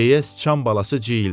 deyə sıçan balası ciyildədi.